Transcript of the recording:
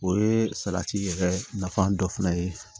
O ye salati yɛrɛ nafa dɔ fana ye